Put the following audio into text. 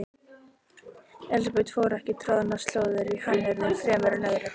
Elsabet fór ekki troðnar slóðir í hannyrðum fremur en öðru.